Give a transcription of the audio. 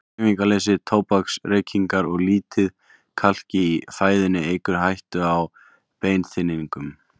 Hreyfingarleysi, tóbaksreykingar og lítið kalk í fæðunni eykur hættuna á beinþynningu.